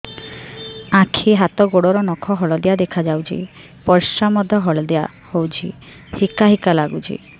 ଆଖି ହାତ ଗୋଡ଼ର ନଖ ହଳଦିଆ ଦେଖା ଯାଉଛି ପରିସ୍ରା ମଧ୍ୟ ହଳଦିଆ ହଉଛି ହିକା ହିକା ଲାଗୁଛି